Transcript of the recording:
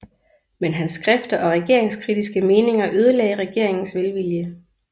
Men hans skrifter og regeringskritiske meninger ødelagde regeringens velvilje